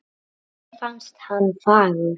Henni fannst hann fagur